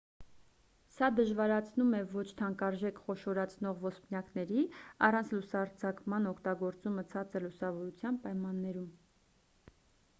սա դժվարացնում է ոչ թանկարժեք խոշորացնող ոսպնյակների առանց լուսարձակման օգտագործումը ցածր լուսավորության պայմաններում